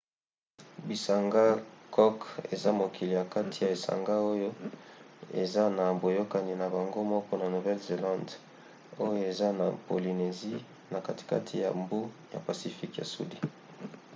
bisanga cook eza mokili ya kati ya esanga oyo eza na boyokani na bango moko na nouvelle-zélande oyo eza na polynésie na katikati ya mbu ya pacifique ya sudi